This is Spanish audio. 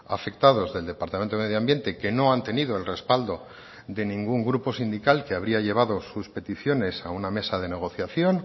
afectados del departamento de medio ambiente que no han tenido el respaldo de ningún grupo sindical que habría llevado sus peticiones a una mesa de negociación